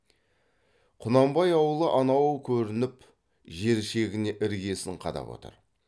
құнанбай аулы анау көрініп жер шегіне іргесін қадап отыр